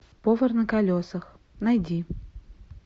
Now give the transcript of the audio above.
повар на колесах найди